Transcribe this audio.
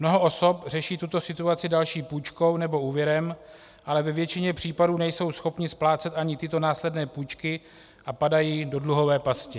Mnoho osob řeší tuto situaci další půjčkou nebo úvěrem, ale ve většině případů nejsou schopny splácet ani tyto následné půjčky a padají do dluhové pasti.